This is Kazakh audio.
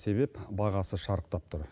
себеп бағасы шарықтап тұр